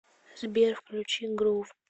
сбер включи грув